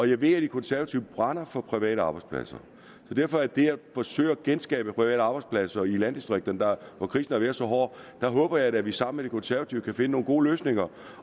jeg ved at de konservative brænder for private arbejdspladser så derfor er det godt at forsøge at genskabe private arbejdspladser i landdistrikterne hvor krisen har været så hård der håber jeg da at vi sammen konservative kan finde nogle gode løsninger